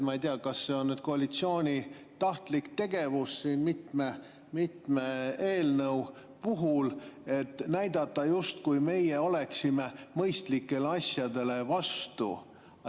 Ma ei tea, kas see on nüüd koalitsiooni tahtlik tegevus mitme eelnõu puhul, et näidata, justkui meie oleksime mõistlikele asjadele vastu.